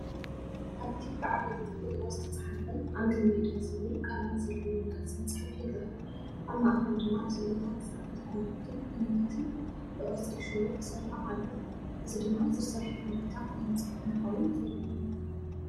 ኣብቲ ብዓበይቲ ፊደላት ዝተጻሕፈ "ኣንድሮሜዳ" ዝብል ቃላት ዘለዎ ገጽ መጽሓፍ ይርአ። ኣብ ማእከል ድማ ስእልታት ስርዓተ ከዋኽብትን ፕላኔታትን ብቅርጺ ሽቦ ተሰሪዖም ኣለዉ። እዚ ድማ ዝርዝር ሓበሬታ ናይቲ መጽሓፍ ምዃኑ ዘርኢ እዩ።